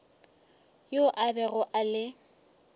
yo a bego a le